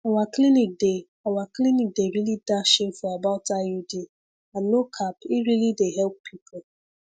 our clinic dey our clinic dey really dash info about iud and no cap e really dey help people